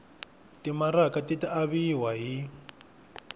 timaraka ti ta aviwa hi